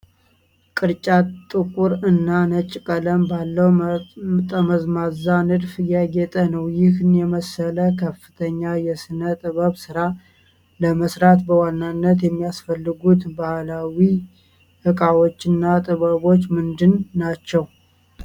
ቅርጫት ጥቁር እና ነጭ ቀለም ባለው ጠመዝማዛ ንድፍ ያጌጠ ነው። ይህን የመሰለ ከፍተኛ የሥነ ጥበብ ሥራ ለመሥራት በዋናነት የሚያስፈልጉት ባህላዊ ዕቃዎችና ጥበቦች ምንድን ናቸው?